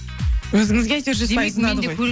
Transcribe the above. өзіңізге әйтеуір жүз пайыз ұнады ғой